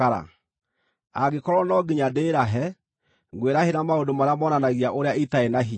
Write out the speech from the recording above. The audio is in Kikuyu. Angĩkorwo no nginya ndĩĩrahe, ngwĩrahĩra maũndũ marĩa monanagia ũrĩa itarĩ na hinya.